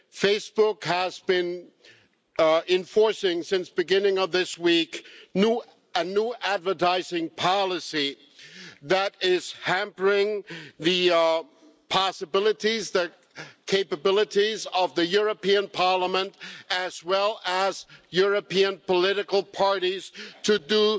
Facebook has been enforcing, since the beginning of this week, a new advertising policy that is hampering the possibilities and the capabilities of the European Parliament, as well as European political parties, to do